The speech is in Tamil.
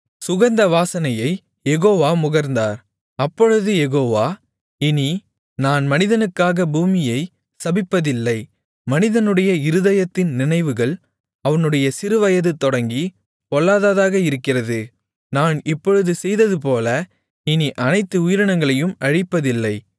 சுகந்த வாசனையைக் யெகோவா முகர்ந்தார் அப்பொழுது யெகோவா இனி நான் மனிதனுக்காக பூமியை சபிப்பதில்லை மனிதனுடைய இருதயத்தின் நினைவுகள் அவனுடைய சிறுவயது தொடங்கி பொல்லாததாக இருக்கிறது நான் இப்பொழுது செய்ததுபோல இனி அனைத்து உயிரினங்களையும் அழிப்பதில்லை